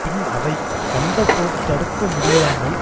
பின் அவை வந்தபோது தடுக்க முடியாமல்